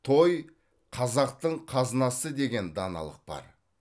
той қазақтың қазынасы деген даналық бар